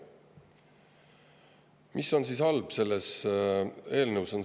Mis on siis halb selles eelnõus?